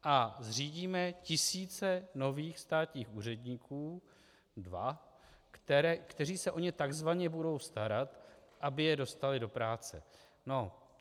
A zřídíme tisíce nových státních úředníků, dva, kteří se o ně takzvaně budou starat, aby je dostali do práce.